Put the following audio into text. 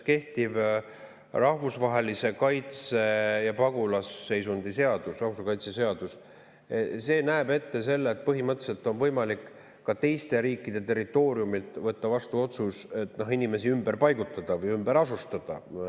Kehtiv rahvusvahelise kaitse ja pagulasseisundi seadus näeb ette selle, et põhimõtteliselt on võimalik otsus võtta teiste riikide territooriumilt inimesi vastu, neid ümber paigutada või ümber asustada.